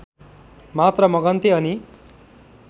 मात्र मगन्ते अनि